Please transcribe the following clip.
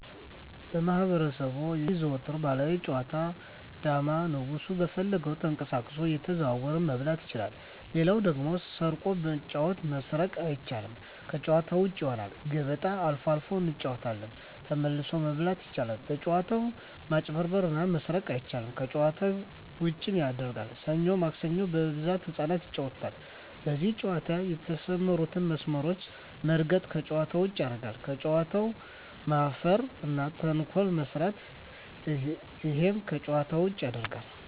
በማህበረሰቡ የሚዘወተሩ ባህላዊ ጨዋታ ዳማ ንጉሡ በፈለገው ተቀሳቅሶ እየተዘዋወረ መብላት ይችላል ሌላው ደግሞ ስርቆት በጨዋታው መስረቅ አይቻልም ከጭዋታ ውጭ ይሆናል ገበጣ አልፎ አልፎ እንጫወታለን ተመልሶ መብላት አይቻልም በጭዋታው መጭበርበር እና መስረቅ አይቻልም ከጨዋታው ዉጭም ያረጋል ሠኞ ማክሰኞ በብዛት ህጻናት ይጫወታሉ በዚህ ጨዋታ የተሠማሩትን መስመሮች መርገጥ ከጨዋታ ውጭ ያረጋል በጨዋታው መፈረ እና ተንኮል መስራት እሄም ከጨዋታ ውጭ ያረጋል